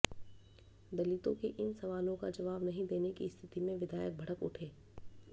दलितों के इन सवालों का जवाब नहीं देने की स्थिति में विधायक भड़क उठे